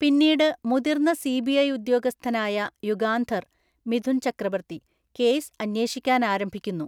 പിന്നീട് മുതിർന്ന സിബിഐ ഉദ്യോഗസ്ഥനായ യുഗാന്ധർ (മിഥുൻ ചക്രബർത്തി) കേസ് അന്വേഷിക്കാൻ ആരംഭിക്കുന്നു.